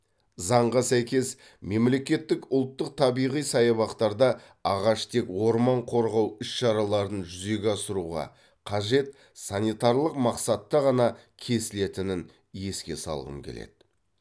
заңға сәйкес мемлекеттік ұлттық табиғи саябақтарда ағаш тек орман қорғау іс шараларын жүзеге асыруға қажет санитарлық мақсатта ғана кесілетінін еске салғым келеді